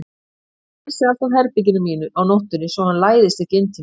Ég læsi alltaf herberginu mínu á nóttunni svo hann læðist ekki inn til mín.